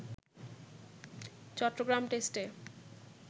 চট্টগ্রাম টেস্টে